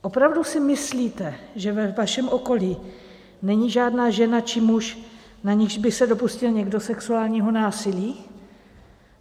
Opravdu si myslíte, že ve vašem okolí není žádná žena či muž, na nichž by se dopustil někdo sexuálního násilí?